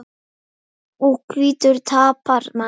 Og hvítur tapar manni.